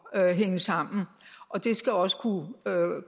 at hænge sammen og det skal også kunne